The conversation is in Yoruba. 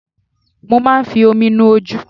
Mo máa ń fi omi nu ojú.